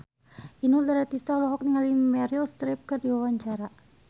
Inul Daratista olohok ningali Meryl Streep keur diwawancara